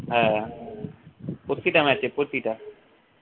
হ্যাঁ প্রতিটা match এ প্রতিটা